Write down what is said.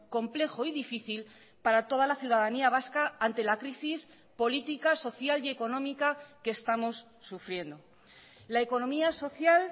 complejo y difícil para toda la ciudadanía vasca ante la crisis política social y económica que estamos sufriendo la economía social